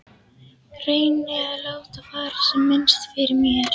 Reyni að láta fara sem minnst fyrir mér.